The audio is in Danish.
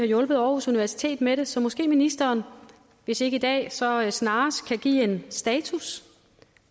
hjulpet aarhus universitet med det så måske ministeren hvis ikke i dag så snarest kan give en status